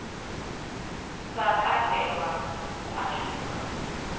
sa katelwa hu a shuma